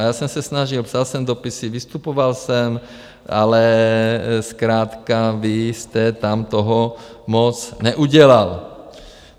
A já jsem se snažil, psal jsem dopisy, vystupoval jsem, ale zkrátka vy jste tam toho moc neudělal.